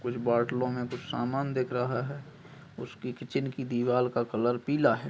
कुछ बोतलों में कुछ सामान दिख रहा है। उसकी किचन की दीवार का कलर पीला है।